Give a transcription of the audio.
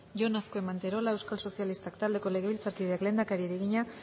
jon azkue manterola euskal sozialistak taldeko legebiltzarkideak lehendakariari egina